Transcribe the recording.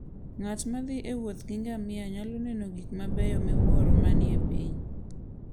Ng'at ma thi e wuoth gi ngamia nyalo neno gik mabeyo miwuoro manie piny.